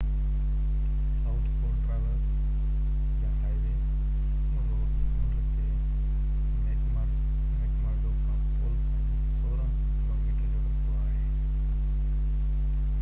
south pole traverse يا highway Ross سمنڊ تي ميڪمرڊو کان پول تائين 1600 ڪلو ميٽر جو رستو آهي